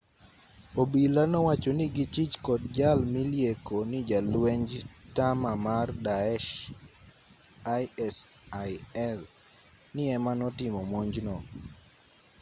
obila nowacho ni gichich kod jal milieko ni jalwenj tama mar daeshisil ni ema notimo monj no